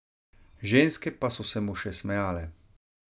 Ženske pa so se mu še smejale.